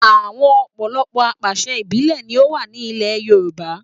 Àwọn ọ̀pọ̀lọpọ̀ apàṣẹ ìbílẹ̀ ni ó wà ní ilẹ̀ Yorùbá